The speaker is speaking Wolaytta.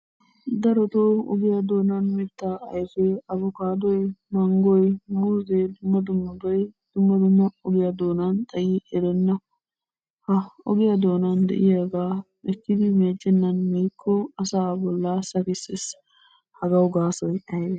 Darottoo ogiya doonaani mitaa ayfee abbokkaadoy, manggoy, muuzzenne dumma dummabay dumma dumma ogiy doonaani xayi erenna. Ha ogiya doonaan de'iyabaa ekkidi meeccenaan miikko asaa bollaa sakkissees, hagawu gaasoy aybee?